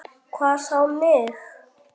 Hvað þá mig.